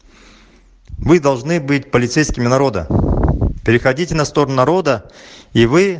мы должны быть полицейскими народа переходите на сторону народа и вы